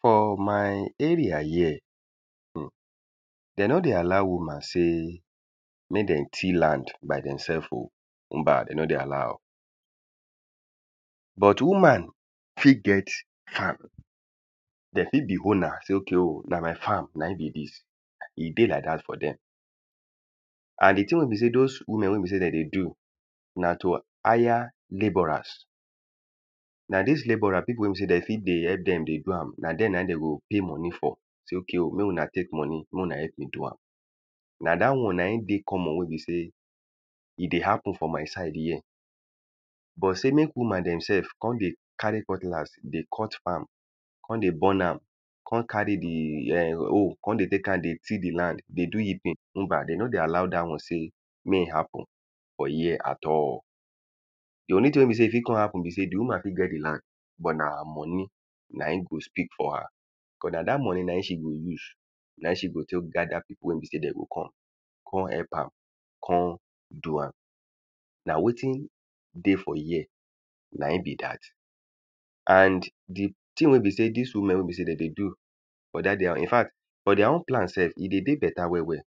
For my area here, um de no dey allow woman sey mey dem till land by demself oh. Mba] de no dey allow am. But woman fit get farm. They fit be owner, sey okay oh na my farm na im be dis. E dey like dat for dem. And the thing wey be sey dos women wey be sey dem dey do na to hire labourers. Na dis labourer people wey be sey dem fit dey help dem they do am. Na dem na im dem go pay money for. Sey okay oh, make una take money. Mey una help me do am. Na dat one na im dey common wey be sey e dey happen for my side here. But sey make woman demself con dey carry cutlass dey cut farm con dey burn am. Con carry the um hoe con dey take am dey till the land. They do heaping [mba] they no dey all dat one sey mey e happen for here at all. The only thing wey be sey e fit con happen be sey the woman fit get the land but na her money na im go speak for her. Cos na dat money na im she go use. Na im she go take gather people wey be sey dem go come. Con help am con do am. Na wetin dey for here na im be dat. And the thing wey be sey dis women wey be sey dem dey do for dat their infact for their own plant self, e dey dey better well well.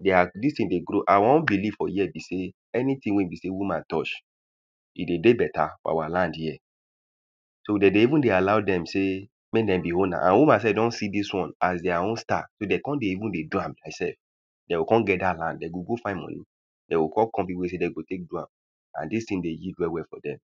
Their dis thing dey grow. Our own believe for here be sey anything wey be sey woman touch e dey dey better for our land here. So de dey even dey allow dem sey mey dem be owner. And woman self don see dis one as their own star. So de con dey even dey do am demself. De go con get dat land. De go go find money. De go con call people wey be sey de go take do am and dis thing dey yield well well for dem.